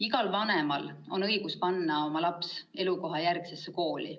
Igal vanemal on õigus panna oma laps elukohajärgsesse kooli.